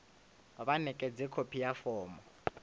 vha ṋekedze khophi ya fomo